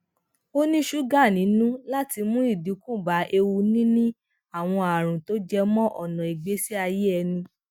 ó ní ṣúgà nínú láti mu idinku ba ewu nini àwọn àrùn tó jẹ mọ ọna ìgbésí ayé ẹni